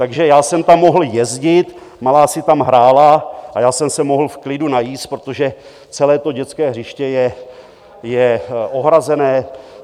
Takže já jsem tam mohl jezdit, malá si tam hrála a já jsem se mohl v klidu najíst, protože celé to dětské hřiště je ohrazené.